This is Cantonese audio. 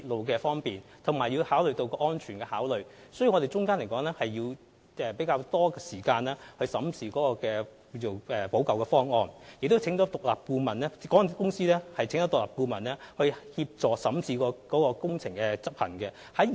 由於要同時考慮方便市民和鐵路安全問題，我們需要較多時間審視有關的補救方案，而且港鐵公司亦邀請了獨立顧問協助審視加固工程的執行細節。